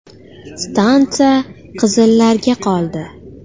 Stansiya qizillarga qoldi.